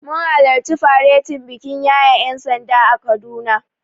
Mun halarci faretin bikin yaye ƴansanda a Kaduna.